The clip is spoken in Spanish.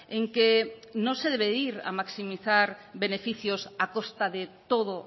en que no se debe ir a maximizar beneficios a costa de todo